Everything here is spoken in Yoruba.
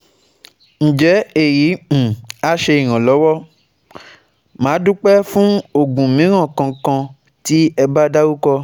Nje eyi um a se iranlowo? Madupe um fun ogun miran kan kan ti eba daruko